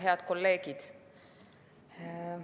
Head kolleegid!